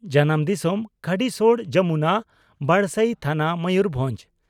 ᱾ᱡᱟᱱᱟᱢ ᱫᱤᱥᱚᱢ ᱺ ᱠᱷᱟᱰᱤᱥᱚᱲ ᱡᱚᱢᱩᱱᱟ, ᱵᱟᱰᱥᱟᱭᱤ ᱛᱷᱟᱱᱟ, ᱢᱚᱭᱩᱨᱵᱷᱚᱸᱡᱽ ᱾